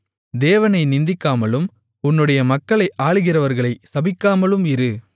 தேவனை நிந்திக்காமலும் உன்னுடைய மக்களை ஆளுகிறவர்களைச் சபிக்காமலும் இரு